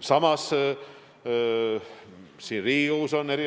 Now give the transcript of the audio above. Samas, siin Riigikogus on eri